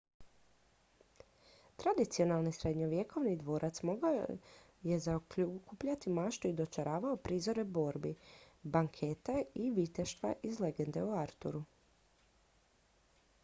tradicionalni srednjovjekovni dvorac dugo je zaokupljao maštu i dočaravao prizore borbi banketa i viteštva iz legende o arturu